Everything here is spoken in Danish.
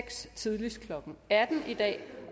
seks tidligst klokken atten i dag